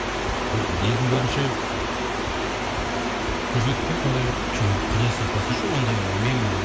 бір елдің көзінше көрсетіп пе едің сондай бір жоқ құдай сақтасыншы ондай мен